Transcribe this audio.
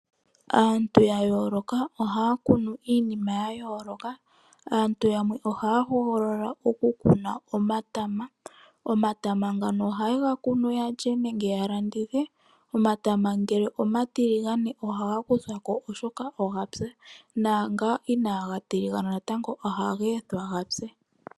Aantu ya yooloka ohaya kunu iinima ya yooloka. Aantu yamwe ohaya hogolola okukuna omatama. Omatama ngono oha ye ga kunu ya lye nenge ya landithe. Omatama ngono omatiligane ohaga likolwa ko oshoka oga pya naangono inaaga tiligana oha ga ethiwa ga pye.